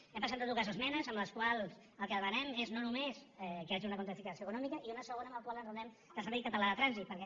hem presentat dues esmenes en les quals el que demanem és no només que hi hagi una quantificació econòmica i una segona en la qual enraonem del servei català de trànsit perquè